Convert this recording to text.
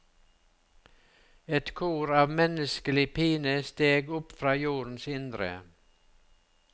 Et kor av menneskelig pine steg opp fra jordens indre.